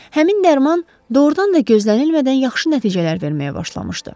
Həmin dərman doğrudan da gözlənilmədən yaxşı nəticələr verməyə başlamışdı.